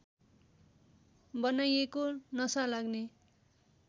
बनाइएको नशा लाग्ने